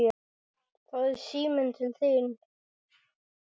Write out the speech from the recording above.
Það er síminn til þín.